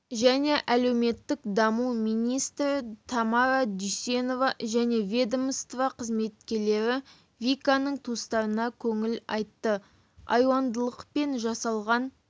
және әлеуметтік даму министрі тамара дүйсенова және ведомства қызметкерлері виканың туыстарына көңіл айтты айуандылықпен жасалған